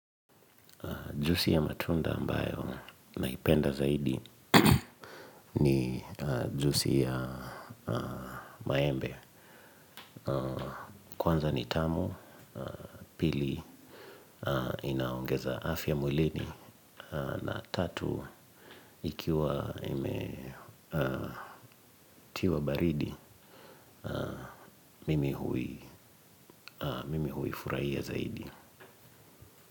Juisi ya matunda ambayo naipenda zaidi ni juisi ya maembe. Kwanza ni tamu, pili inaongeza afya mwilini na tatu ikiwa imetiwa baridi, mimi huifurahia zaidi.